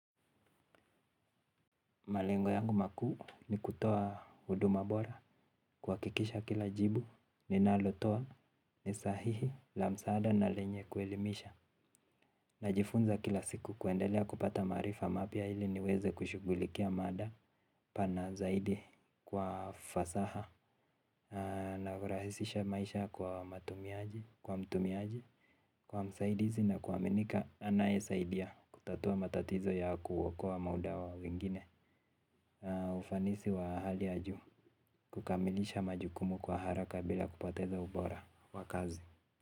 Malengo yangu makuu ni kutoa huduma bora kwa kikisha kila jibu ni nalotoa ni sahihi la msaada na lenye kuelimisha. Najifunza kila siku kuendelea kupata maarifa mapya ili niweze kushugulikia mada pana zaidi kwa fasaha. Na kurahisisha maisha kwa matumiaji, kwa mtumiaji, kwa msaidizi na kwa minika anaye saidia kutatua matatizo ya kuokoa muda wa wengine. Ufanisi wa alhali ya juu. Kukamilisha majukumu kwa haraka bila kupoteza ubora. Wakazi.